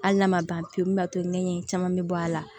Hali n'a ma ban pewu min b'a to ɲɛɲɛ caman bɛ bɔ a la